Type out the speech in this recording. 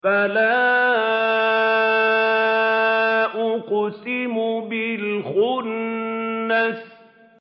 فَلَا أُقْسِمُ بِالْخُنَّسِ